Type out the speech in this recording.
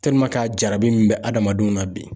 a jarabi min bɛ adamadenw na bi